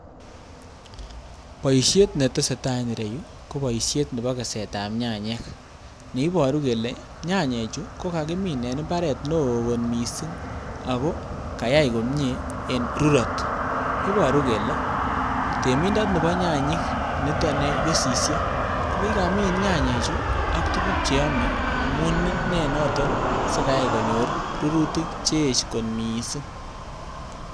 Boishet netesetaa en ireyuu ko boishet nebo kesetab nyanyik, neiboru kelee nyanyichu ko kakimin en imbaret neoo mising ak ko kayaii komnyee en rurot, iboru kelee temindoni no nyanyik niton kesisie kokikamin nyanyichu ak tukuk cheome amuun inee noton nekayai sikonyor rurutik cheyech kot mising.